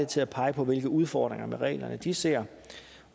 til at pege på hvilke udfordringer med reglerne de ser